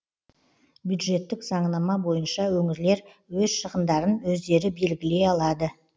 бюджеттік заңнама бойынша өңірлер өз шығындарын өздері белгілей алады